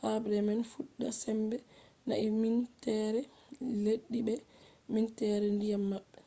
habre man fuɗɗa sembe he’ai minteere leddi be minteere ndiyam maɓɓe